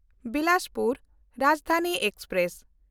Bilaspur Rajdhani express